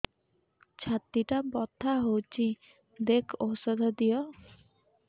ଛାତି ଟା ବଥା ହଉଚି ଦେଖ ଔଷଧ ଦିଅ